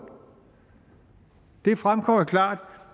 det fremgår klart